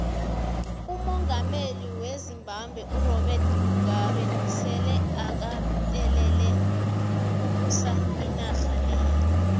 umongameli wezimbabwe urobert mugabe sele akatelele ukubusa inarha leya